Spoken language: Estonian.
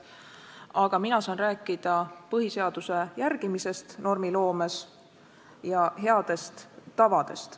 Aga mina saan rääkida põhiseaduse järgimisest normiloomes ja headest tavadest.